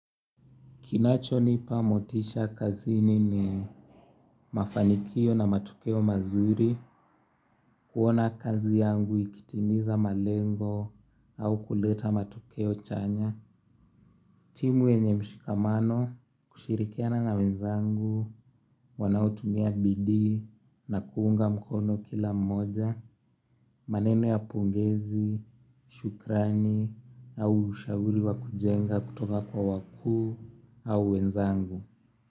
Kinachonipa motisha kazini ni mafanikio na matokeo mazuri, kuona kazi yangu ikitimiza malengo au kuleta matokeo chanya. Timu wenye mshikamano, kushirikiana na wenzangu, wanaotumia bidii na kuunga mkono kila mmoja, maneno ya pongezi, shukrani au ushauri wa kujenga kutoka kwa wakuu au wenzangu.